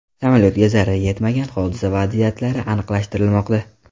Samolyotga zarar yetmagan, hodisa vaziyatlari aniqlashtirilmoqda.